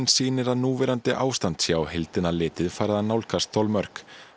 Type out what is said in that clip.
sýnir að núverandi ástand sé á heildina litið farið að nálgast þolmörk